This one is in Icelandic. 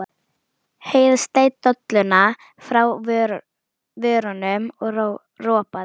Heiða sleit dolluna frá vörunum og ropaði.